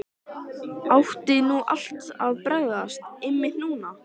Átti nú allt að bregðast, einmitt núna?